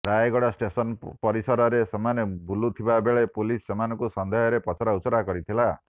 Rayagada station ପରିସରରେ ସେମାନେ ବୁଲୁଥିବା ବେଳେ ପୁଲିସ୍ ସେମାନଙ୍କୁ ସନ୍ଦେହରେ ପଚରାଉଚରା କରିଥିଲା